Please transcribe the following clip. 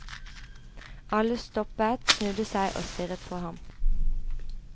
Alle stoppet, snudde seg og stirret på ham.